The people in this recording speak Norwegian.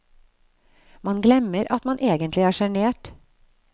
Man glemmer at man egentlig er sjenert.